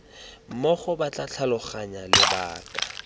mmogo ba tla tlhaloganya lebaka